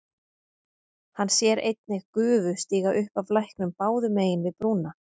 Hann sér einnig gufu stíga upp af læknum báðum megin við brúna.